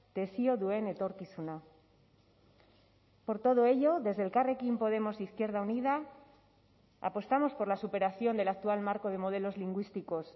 desio duen etorkizuna por todo ello desde elkarrekin podemos izquierda unida apostamos por la superación del actual marco de modelos lingüísticos